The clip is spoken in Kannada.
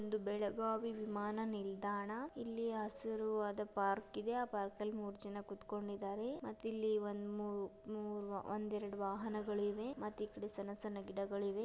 ಇದು ಬೆಳೆಗಾವಿ ವಿಮಾನ ನಿಲ್ದಾಣ. ಇಲ್ಲಿ ಯ ಹಸಿರಿಯಾದ ಪಾರ್ಕ್ ಇದೆ. ಆ ಪಾರ್ಕ್ ಅಲ್ಲಿ ಮೂರು ಜನ ಕುಟ್ಕೊಂಡಿದಾರೆ ಮತ್ತ ಇಲ್ಲಿ ಮೂ-ಮೂ ಒಂದು ಎರಡು ವಾಹನ ಇವೆ ಮತ್ತೆ ಇಲ್ಲಿ ಸಣ್ಣ ಸಣ್ಣ ಗಿಡಗಳು ಇವೆ.